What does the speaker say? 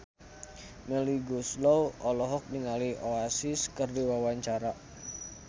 Melly Goeslaw olohok ningali Oasis keur diwawancara